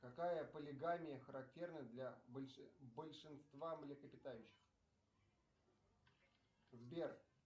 какая полигамия характерна для большинства млекопитающих сбер